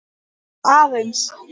Bara aðeins.